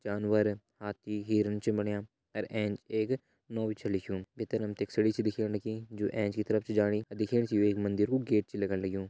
जानवर हाथी हिरन छ बणियां अर एंच एक नो भी छ लिख्युं भितर हमते एक सीढ़ी छा दिखेण लगीं जो एंच की तरफ छ जाणी अर दिखेण से यू एक मंदिर कु गेट छ लगण लग्युं।